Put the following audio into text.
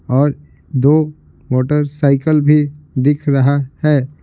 और दो मोटरसाइकिल भी दिख रहा है।